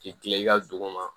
K'i kila i ka dugu ma